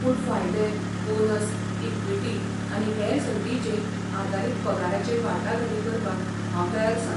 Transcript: पूण फायदे, bonus, equity, आनी हेर संदींचेर आदारीत पगाराचेर वाटाघाटी करपाक हांव तयार आसां.